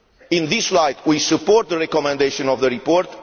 In this light, we support the recommendation of the report.